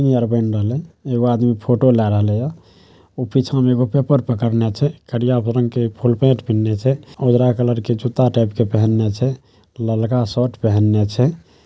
एगो आदमी फोटो ले रहले छै। उ पीछा मे पेपर पकड़ने छै। उजरा कलर के जूता टाइप के पहिन्ले छै ललका शर्ट पहिन्ले छै।